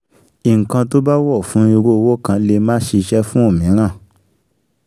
Ǹkan tó bá wọ̀ fún irú òwò kan lè má ṣíṣe fún òmíràn